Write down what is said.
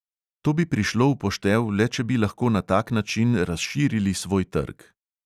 To bi prišlo v poštev le, če bi lahko na tak način razširili svoj trg.